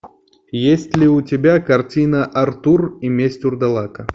есть ли у тебя картина артур и месть вурдалака